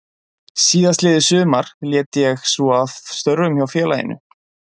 Síðastliðið sumar lét ég svo af störfum hjá félaginu.